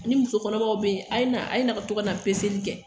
Ni muso kɔnɔmaw beyi, a ye na, a ye na, ka to ka na peseli kɛ